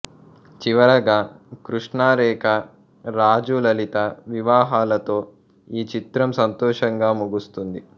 చివరగా కృష్ణ రేఖ రాజు లలిత వివాహాలతో ఈ చిత్రం సంతోషంగా ముగుస్తుంది